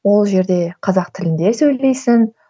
ол жерде қазақ тілінде сөйлейсің